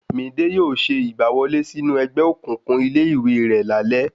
Midé yóò ṣe ìgbà wọlé sínú ẹgbẹ́ òkùnkùn ilé ìwé rẹ̀ lálé